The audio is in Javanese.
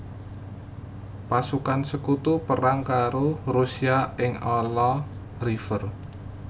Pasukan Sekutu perang karo Rusia ing Ala River